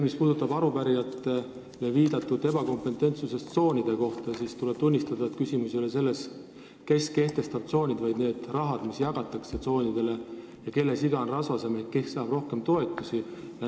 Mis puudutab arupärijate ebakompetentsust tsoonide asjus, siis tuleb tunnistada, et küsimus ei ole selles, kes tsoonid kehtestab, vaid selles rahas, mis tsoonidele jagatakse, ja selles, kelle siga on rasvasem ehk kes saab rohkem toetusi.